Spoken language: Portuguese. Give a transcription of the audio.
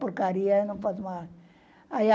Porcaria, eu não posso.